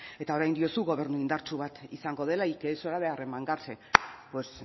eta orain diozu gobernu indartsu bat izango dela y que es hora de arremangarse pues